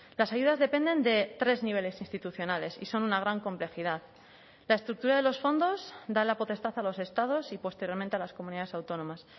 las ayudas dependen de tres niveles institucionales y son una gran complejidad la estructura de los fondos da la potestad a los estados y posteriormente a las comunidades autónomas